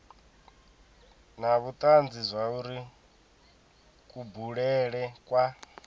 na vhutanzi zwauri kubulele kwa